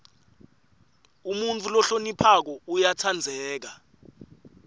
umuntfu lohloniphako uyatsandzeka